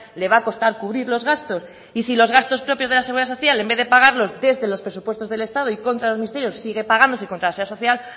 le va a costar cubrir los gastos y si los gastos propios de la seguridad social en vez de pagarlos desde los presupuestos del estado y contra los ministerios sigue pagándose contra la seguridad social